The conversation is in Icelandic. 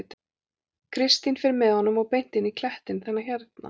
Kristín fer með honum og beint inn í klettinn, þennan hérna.